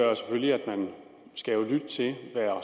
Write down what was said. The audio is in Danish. man skal lytte til